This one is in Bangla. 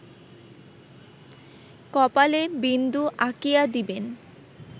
কপালে বিন্দু আঁকিয়া দিবেন